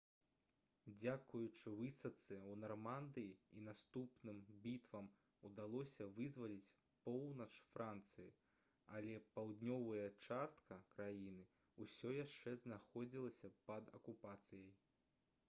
дзякуючы высадцы ў нармандыі і наступным бітвам удалося вызваліць поўнач францыі але паўднёвая частка краіны ўсё яшчэ знаходзілася пад акупацыяй